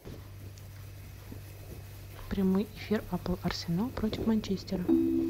прямой эфир апл арсенал против манчестера